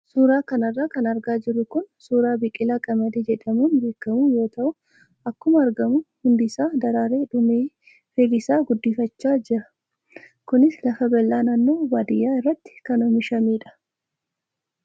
Suuraa kanarra kan argaa jirru kun suuraa biqilaa qamadii jedhamuun beekamu yoo ta'u akkuma argamu hundisaa daraaree dhumee firii isaa guddifachaa jira. Kunis lafa bal'aa naannoo baadiyyaa irratti kan oomishamedha.